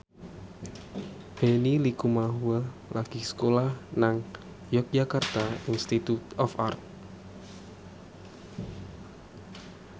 Benny Likumahua lagi sekolah nang Yogyakarta Institute of Art